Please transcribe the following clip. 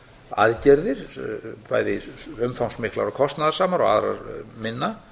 aðgerðir bæði umfangsmiklar og kostnaðarsamar og aðrar minna